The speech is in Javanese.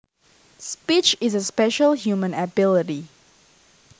Speech is a special human ability